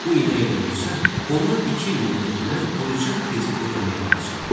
Bu inək də ölsə, ona iki il müddətinə quruca kredit ödəmək qalacaqdı.